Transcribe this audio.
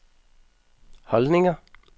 holdninger